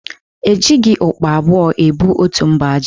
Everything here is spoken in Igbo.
E jịghị ụkpa abụọ ebu otu mba ji.